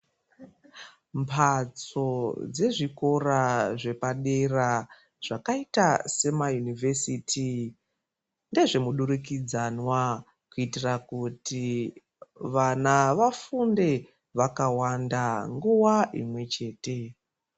Mphatso dzezvikora zvepadera zvakaita semayunivhesiti, ndezvemudurikidzanwa kuitira kuti vana vafunde vakawanda, nguwa imwe chete.